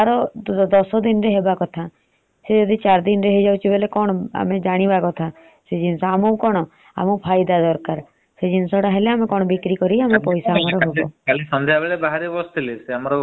ଆମକୁ କଣ ଫାଇଦା ଦରକାର। ସେ ଜିନିଷ ତ ହେଲେ ଆମକୁ ବିକ୍ରି କରି ଆମର ପଇସା ହବ ।